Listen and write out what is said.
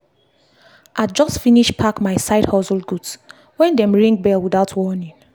i just finish pack my side hustle goods when dem ring bell without warning.